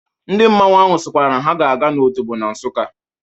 Ndị mmanwụ ahụ sịkwara na ha ga-aga n'Otobo na Nsukka.